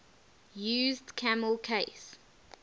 used camel case